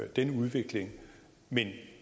den udvikling men